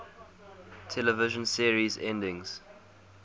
television series endings